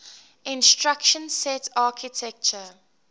instruction set architecture